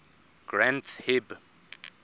granth hib